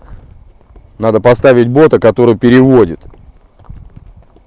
надо поставить бота который переводит